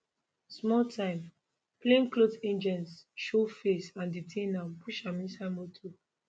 small time plainclothe agents show face and detain am push am inside motor